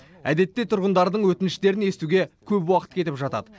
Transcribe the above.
әдетте тұрғындардың өтініштерін естуге көп уақыт кетіп жатады